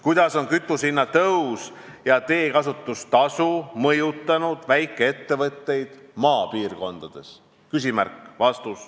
Kuidas on kütusehinna tõus ja teekasutustasu mõjutanud väikeettevõtjaid maapiirkondades?